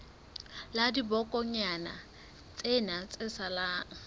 la dibokonyana tsena tse salang